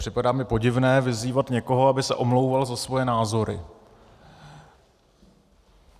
Připadá mi podivné vyzývat někoho, aby se omlouval za svoje názory.